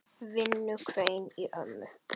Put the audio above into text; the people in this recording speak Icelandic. Vinnu hvein í ömmu.